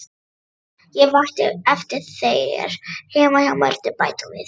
Ég vakti eftir þér heima hjá Mörtu, bætti hún við.